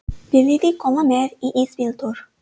Viljiði koma með í ísbíltúr?